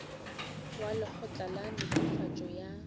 wa lekgotla la netefatšo ya